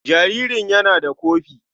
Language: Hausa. Jaririn yana da kofi.